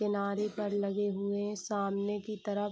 किनारे पर लगे हुए हैं सामने की तरफ।